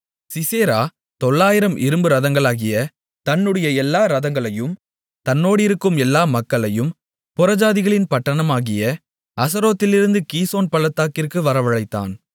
Sisera தொள்ளாயிரம் இரும்பு ரதங்களாகிய தன்னுடைய எல்லா ரதங்களையும் தன்னோடிருக்கும் எல்லா மக்களையும் புறஜாதிகளின் பட்டணமாகிய அரோசேத்திலிருந்து கீசோன் பள்ளத்தாக்கிற்கு வரவழைத்தான்